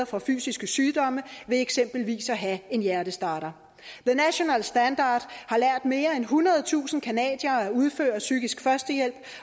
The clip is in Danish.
for fysiske sygdomme ved eksempelvis at have en hjertestarter the national standard har lært mere end ethundredetusind canadiere at udføre psykisk førstehjælp